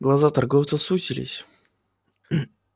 глаза торговца сузились